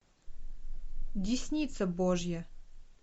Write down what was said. десница божья